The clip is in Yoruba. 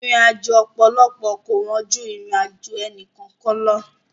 Ìrìnàjò ọ̀pọ̀lọpọ̀ kò wọ́n ju ìrìnàjò ẹnì kọ̀ọ̀kan lọ.